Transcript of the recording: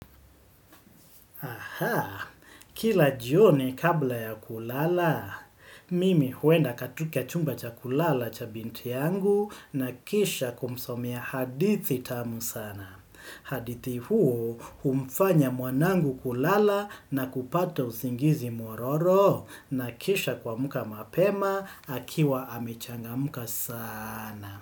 Aha, kila jioni kabla ya kulala, mimi huenda katika chumba cha kulala cha binti yangu na kisha kumsomea hadithi tamu sana. Hadithi huo humfanya mwanangu kulala na kupata usingizi mwororo na kisha kuamka mapema akiwa amechangamka sana.